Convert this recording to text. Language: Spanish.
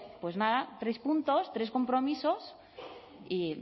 pues nada tres puntos tres compromisos